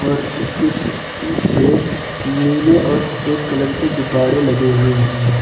और इसके पीछे नीले और सफेद कलर के गुब्बारे लगे हुए है।